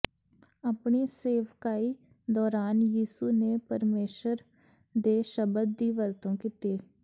ਆਪਣੀ ਸੇਵਕਾਈ ਦੌਰਾਨ ਯਿਸੂ ਨੇ ਪਰਮੇਸ਼ਰ ਦੇ ਸ਼ਬਦ ਦੀ ਵਰਤੋਂ ਕੀਤੀ